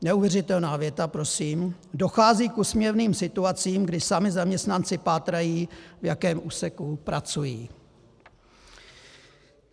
- Neuvěřitelná věta prosím: Dochází k úsměvným situacím, kdy sami zaměstnanci pátrají, v jakém úseku pracují.